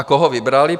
A koho vybrali?